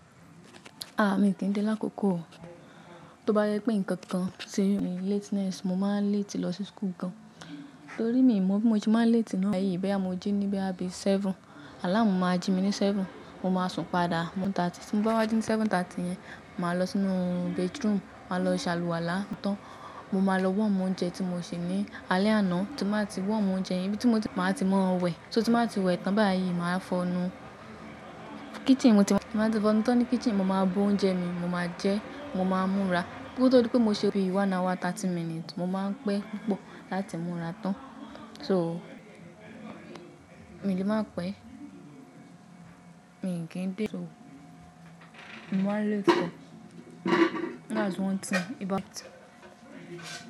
Mi kì í dé l'akókò o. Tó bá yẹ pé nǹkan kan ṣe mi lateness, mo máa ń letí lọ sí school gan. Torí mi mọ bí mo ṣe ma ń letí náà, gbayi boya mo jí ní boya bí seven, alámù máa jí mi ní seven, mo máa sùn padà. Mo ń ta tí ti mo bá wá jí ní 7:30 yẹn, màá lọ sínú bathroom, màá lọ ṣàlùwàlá tán. Mo máa lọ womu oúnjẹ tí mo sè ní alẹ́ àná, tí màá ti womu oúnjẹ ibí tí mo ti máa ti mọ wẹ̀. Só tí ba wá ti wẹ̀ tán báyìí, màá fọnú. Kitchen mo ti máa ti fọnú tán ní kitchen, mo máa bu oúnjẹ mi, mo máa jẹ, mo máa múra. Nítorí pé mo ṣe bí i one hour thirty minutes, mo máa ń pẹ́ púpọ̀ láti múra tán. So, mi n lè máa pẹ́. Mi kì n dé. So, mo máa ń letí gan That's one thing about.